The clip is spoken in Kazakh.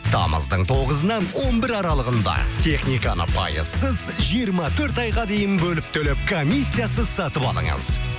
тамыздың тоғызынан он бірі аралығында техниканы пайызсыз жиырма төрт айға дейін бөліп төлеп комиссиясыз сатып алыңыз